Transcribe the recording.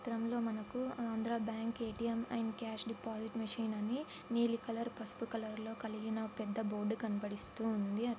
ఈ చిత్రంలో మనకి Andhra bank ATM. And cash deposit machine అని నీలి కలర్ పసుపు కలర్ లో కలిగిన అని ఒహ్హ పెద్ద బోర్డు కనపడిస్తూ ఉంది.